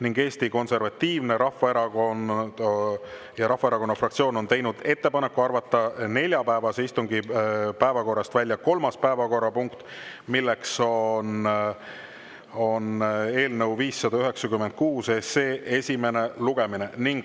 Ning Eesti Konservatiivse Rahvaerakonna fraktsioon on teinud ettepaneku arvata neljapäevase istungi päevakorrast välja kolmas päevakorrapunkt, milleks on eelnõu 596 esimene lugemine.